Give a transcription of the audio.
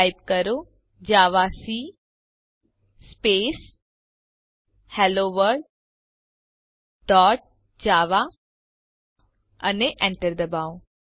type કરો javac space hello world dot java અને Enter ડબાઓ